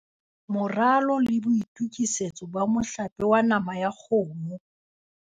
Moralo le boitokisetso ba mohlape wa nama ya kgomo